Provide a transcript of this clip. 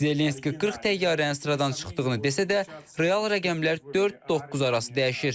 Zelenski 40 təyyarənin sıradan çıxdığını desə də, real rəqəmlər 4-9 arası dəyişir.